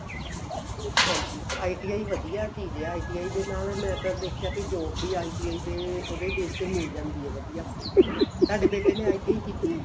ਹਾਂਜੀ ITI ਵਧੀਆ ਚੀਜ਼ ਏ ITI ਦੇ ਨਾਲ ਮੈਂ ਤਾਂ ਵੇਖਿਆ ਵੀ job ਵੀ ITI ਦੇ ਉਹਦੇ base ਤੇ ਮਿਲ ਜਾਂਦੀ ਏ ਵਧੀਆ ਤੁਹਡੇ ਬੇਟੇ ਨੇ ITI ਕੀਤੀ ਏ